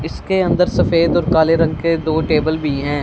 इसके अंदर सफेद और काले रंग के दो टेबल भी हैं।